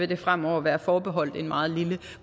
det fremover være forbeholdt en meget lille